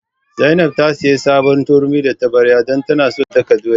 Zainab ta sayi sabuwar turmi da tabarya don tana son ta daka doya.